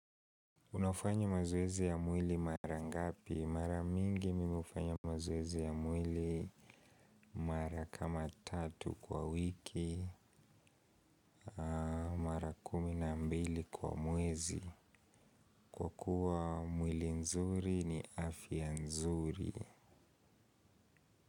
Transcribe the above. Unafanya mazoezi ya mwili mara ngapi? Mara mingi mimu hufanya mazoezi ya mwili mara kama tatu kwa wiki, mara kuminambili kwa mwezi. Kwa kuwa mwili nzuri ni afya nzuri.